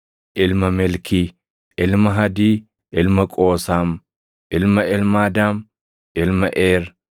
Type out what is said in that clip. ilma Melkii, ilma Hadii, ilma Qoosaam, ilma Elmaadaam, ilma Eer,